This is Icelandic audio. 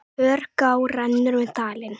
Hörgá rennur um dalinn.